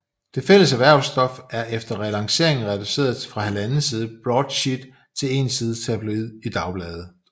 Det fælles erhvervsstof er efter relanceringen reduceret fra halvanden side broadsheet til én side tabloid i Dagbladet